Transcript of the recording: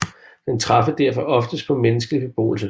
Den træffes derfor ofte tæt på menneskelig beboelse